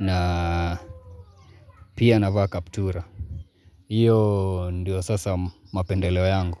na pia navaa kaptura. Iyo ndio sasa mapendeleo yangu.